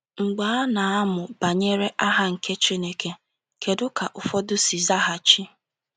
Mgbe a n’amụ banyere aha nke Chineke, kedụ ka ụfọdụ si zaghachi?